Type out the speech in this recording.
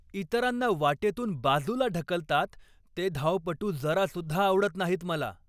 इतरांना वाटेतून बाजूला ढकलतात ते धावपटू जरासुद्धा आवडत नाहीत मला.